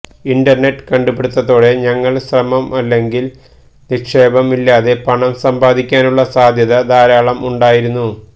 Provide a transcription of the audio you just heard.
internet കണ്ടുപിടുത്തത്തോടെ ഞങ്ങൾ ശ്രമം അല്ലെങ്കിൽ നിക്ഷേപം ഇല്ലാതെ പണം സമ്പാദിക്കാനുള്ള സാധ്യത ധാരാളം ഉണ്ടായിരുന്നു